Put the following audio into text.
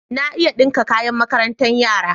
Na iya ɗinka kayan makarantar yara.